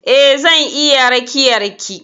Eh zan iya rakiyar ki.